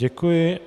Děkuji.